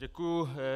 Děkuji.